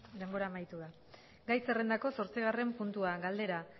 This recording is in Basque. denbora amaitu da gai zerrendako zortzigarren puntua galdera